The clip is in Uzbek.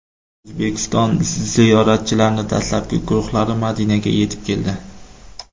O‘zbekiston ziyoratchilarining dastlabki guruhlari Madinaga yetib keldi.